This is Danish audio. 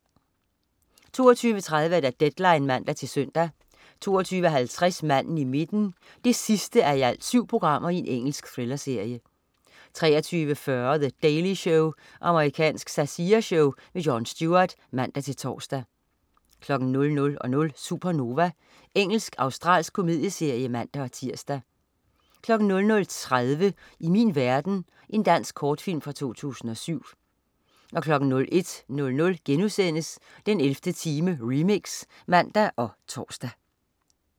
22.30 Deadline (man-søn) 22.50 Manden i midten 7:7. Engelsk thrillerserie 23.40 The Daily Show. Amerikansk satireshow. Jon Stewart (man-tors) 00.00 Supernova. Engelsk-australsk komedieserie (man-tirs) 00.30 I Min Verden. Dansk kortfilm fra 2007 01.00 den 11. time, remix* (man og tors)